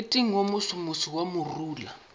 moriting wo mosomoso wa morula